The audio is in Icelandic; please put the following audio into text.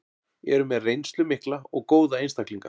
Eru með reynslu mikla og góða einstaklinga.